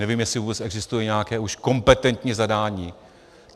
Nevím, jestli vůbec existuje nějaké už kompetentní zadání.